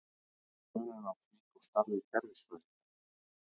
Hver er munurinn á því og starfi kerfisfræðinga?